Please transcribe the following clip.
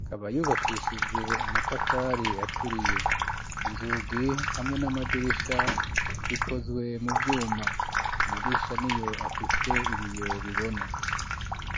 ikaba yubakishije amatafari aturiye inzugi hamwe n'amadirisha bikozwe mu vyuma amadirisha niyo afise ibiyo bibona.